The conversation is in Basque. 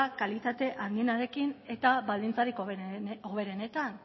kalitate handienarekin eta baldintza hoberenetan